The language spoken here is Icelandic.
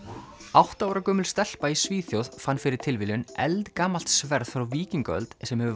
átta ára gömul stelpa í Svíþjóð fann fyrir tilviljun eldgamalt sverð frá víkingaöld sem hefur